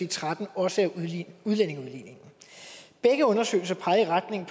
tretten også af udlændingeudligningen begge undersøgelser pegede i retning